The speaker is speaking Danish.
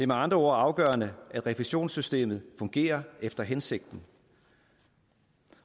med andre ord afgørende at refusionssystemet fungerer efter hensigten